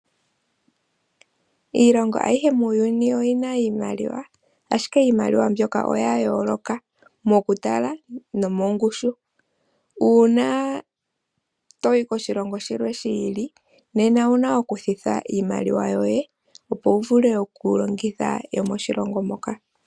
Iilongo ayihe muuyuni oyi na iimaliwa, ashike iimaliwa mbyoka oya yooloka mokutala nomongushu. Uuna to yi koshilongo shilwe shi ili nena owu na okushendja iimaliwa yoye, opo wu vule okulongitha yomoshilongo moka.